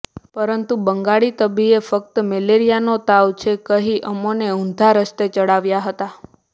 પરંતુ બંગાળી તબીબે ફક્ત મેલેરિયાનો તાવ છે કહી અમોને ઉંધા રસ્તે ચઢાવ્યા હતા